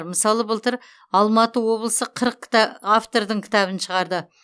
мысалы былтыр алматы облысы қырық кіта автордың кітабын шығарды